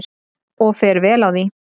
Og fer vel á því.